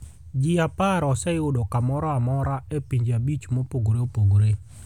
Ji 10 oseyudo kamoro amora e pinje 5 mopogore opogore.